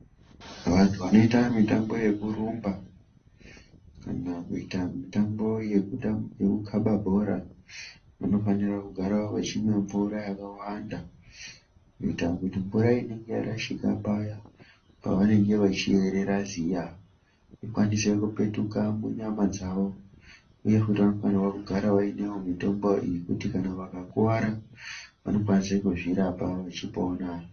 Vantu vanoite mitambo yekurumba, kana kuita mitambo yekukaba bhora, vanofanira kagara vachimwa mvura yakawanda, kuita kuti mvura inenge yarashika paya paanenge achiyerera ziya, ikwanise kupetuka munyama dzawo, uye futi vanofanira kugara vainewo mitombo yekuti kana vakakuwara vanokwanisa kuzvirapa vechipona.